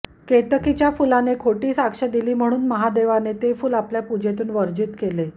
केतकीच्या फुलाने खोटी साक्ष दिली म्हणून महादेवाने ते फूल आपल्या पूजेतून वर्जित केले